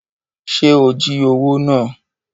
Ṣe o jí owó náà?